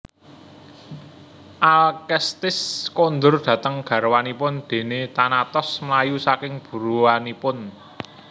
Alkestis kondur dhateng garwanipun déné Thanatos mlayu saking buruanipun